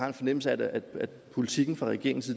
en fornemmelse af at politikken fra regeringens